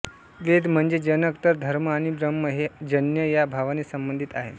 वेद म्हणजे जनक तर धर्म आणि ब्रह्म हे जन्य या भावाने संबंधीत आहेत